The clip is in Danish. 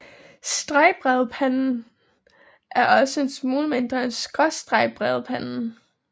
Stregbredpanden er også en smule mindre end skråstregbredpanden